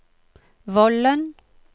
Vollen